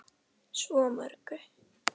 Svo mörgu.